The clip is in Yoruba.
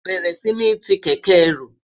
béèrè sí ní tí kéké ẹrù